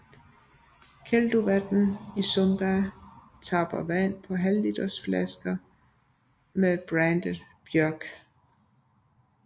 Kelduvatn i Sumba tapper vandet på halvlitersflasker med brandet Bjørg